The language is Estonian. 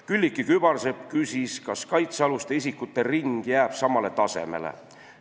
Külliki Kübarsepp küsis, kas kaitsealuste isikute ring jääb sama suureks.